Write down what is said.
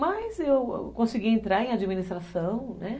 Mas eu consegui entrar em administração, né?